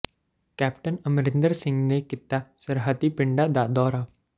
captain Amarinder Singh ਨੇ ਕੀਤਾ ਸਰਹੱਦੀ ਪਿੰਡਾਂ ਦਾ ਦੌਰਾ